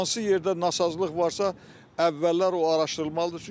Hansı yerdə nasazlıq varsa, əvvəllər o araşdırılmalıdır.